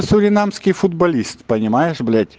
суринамский футболист понимаешь блядь